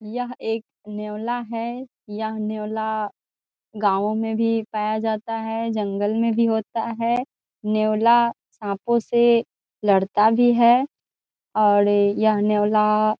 यह एक नेवला है यह नेवला गाँवो में भी पाया जाता है जंगल में भी होता है नेवला सापों से लड़ता भी है और यह नेवला--